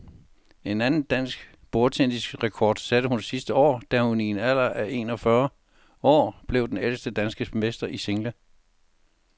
En anden dansk bordtennisrekord satte hun sidste år, da hun i en alder af en og fyrre år blev den ældste danske mester i single.